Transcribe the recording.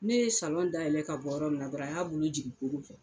Ne ye dayɛlɛ ka bɔ yɔrɔ min na dɔrɔn a y'a bolo jigin koko fɛ